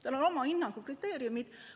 Tal on oma hinnangukriteeriumid.